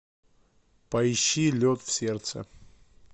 поищи лед в сердце